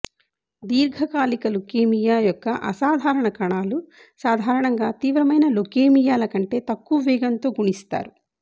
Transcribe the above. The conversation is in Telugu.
దీర్ఘకాలిక ల్యుకేమియా యొక్క అసాధారణ కణాలు సాధారణంగా తీవ్రమైన ల్యుకేమియాల కంటే తక్కువ వేగంతో గుణిస్తారు